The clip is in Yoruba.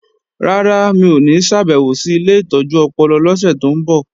Rárá, mi ò ní ṣàbèwò sí ilé ìtọ́jú ọpọlọ lọ́sẹ̀ tó ń bọ̀